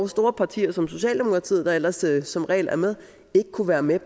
store partier som socialdemokratiet der ellers som regel er med ikke kunne være med